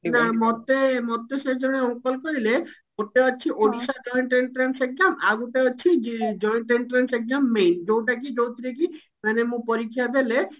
ନା ମୋତେ ମୋତେ ସେ ଜଣେ uncle କହିଲେ ଗୋଟେ ଅଛି ଓଡିଶା joint entrance exam ଆଉ ଗୋଟେ ଅଛି joint entrance exam main ଯଉଟା କି ଯଉଥିରେ କି ମାନେ ମୁଁ ପରୀକ୍ଷା ଦେଲେ